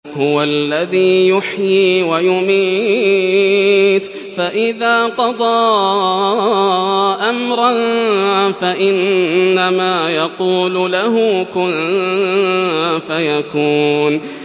هُوَ الَّذِي يُحْيِي وَيُمِيتُ ۖ فَإِذَا قَضَىٰ أَمْرًا فَإِنَّمَا يَقُولُ لَهُ كُن فَيَكُونُ